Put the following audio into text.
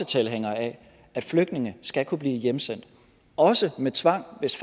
tilhængere af at flygtninge skal kunne blive hjemsendt også med tvang hvis